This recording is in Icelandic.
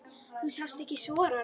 Þú sást ekki sorann.